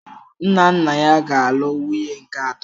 Nna nna ya ga-alụ nwunye nke atọ.